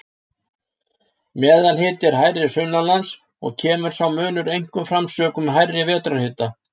Meðalhiti er hærri sunnanlands og kemur sá munur einkum fram sökum hærri vetrarhita.